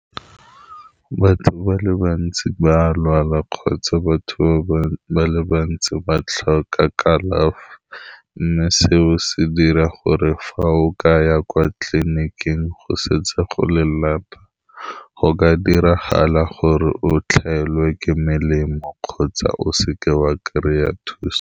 Batho ba le bantsi ba lwala kgotsa batho ba le bantsi ba tlhoka kalafi, mme seo se dira gore fa o ka ya kwa tleliniking go setse go le lata, go ka diragala gore o tlelwe ke melemo kgotsa o seke wa kry-a thuso.